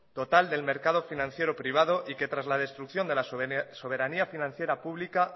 total del mercado financiero privado y que tras la destrucción de la soberanía financiera pública